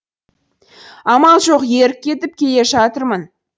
амал жоқ ерік кетіп келе жатырмын